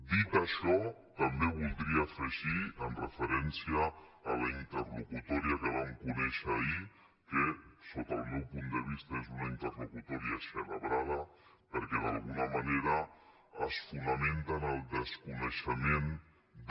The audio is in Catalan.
dit això també voldria afegir en referència amb la interlocutòria que vam conèixer ahir que sota el meu punt de vista és una interlocutòria eixelebrada perquè d’alguna manera es fonamenta en el desconeixement de